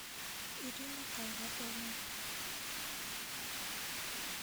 ирина айратовна